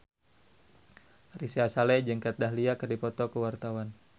Ari Sihasale jeung Kat Dahlia keur dipoto ku wartawan